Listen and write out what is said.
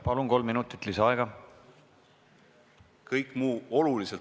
Palun, kolm minutit lisaaega!